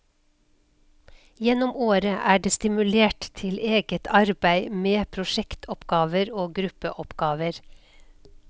Gjennom året er det stimulert til eget arbeid med prosjektoppgaver og gruppeoppgaver.